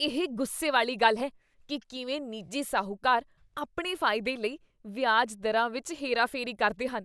ਇਹ ਗੁੱਸੇ ਵਾਲੀ ਗੱਲ ਹੈ ਕੀ ਕਿਵੇਂ ਨਿੱਜੀ ਸ਼ਾਹੂਕਾਰ ਆਪਣੇ ਫਾਇਦੇ ਲਈ ਵਿਆਜ ਦਰਾਂ ਵਿੱਚ ਹੇਰਾਫੇਰੀ ਕਰਦੇ ਹਨ।